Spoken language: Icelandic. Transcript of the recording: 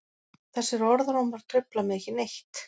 Þessir orðrómar trufla mig ekki neitt.